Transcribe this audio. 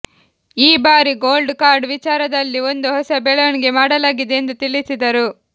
ಈ ಬಾರಿ gold card ವಿಚಾರ ದಲ್ಲಿ ಒಂದು ಹೊಸ ಬೆಳವಣಿಗೆ ಮಾಡಲಾಗಿದೆ ಎಂದು ತಿಳಿಸಿದರು